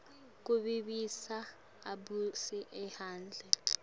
kuvisisa abuye ahumushe